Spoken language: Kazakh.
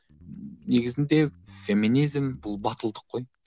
негізінде феминизм бұл батылдық қой